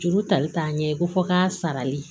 Juru tali taa ɲɛ ko fɔ k'a sarali